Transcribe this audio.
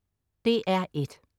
DR1: